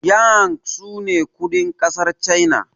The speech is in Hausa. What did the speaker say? yang sune kudin kasar china